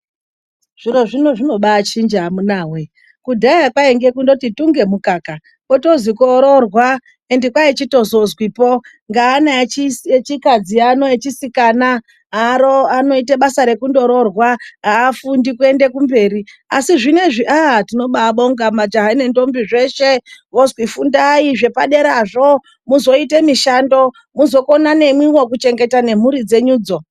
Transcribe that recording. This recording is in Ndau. Zviro zvino zvinobaa chinja amunawe .Kudhaya kwainge kungotii tunge mukaka kotozi koroorwa ende kwaichitozozwipo ngeana echikadzi ano echisikana anoite basa rekundoroorwa ,haafundi kuende kumberi. Asi zvinoizvi tinoba bonga majaha nendombi vonzi fundai zvepaderazvo muzoite mishando ,muzokona nemwiwo kuzochenengeta nemhuri dzenyudzo.